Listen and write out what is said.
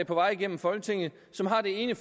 på vej igennem folketinget som har det ene